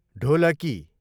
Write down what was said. ढोलकी